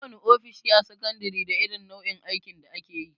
Kowana ofishi a sakandare da irin nau'in aikin da akeyi.